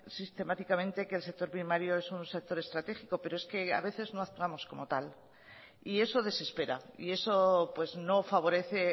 sistemáticamente que el sector primario es un sector estratégico pero es que a veces no actuamos como tal y eso desespera y eso no favorece